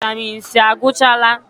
Vaịtamịn C agwụchaala?